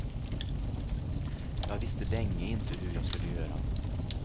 Jag visste länge inte hur jag skulle göra.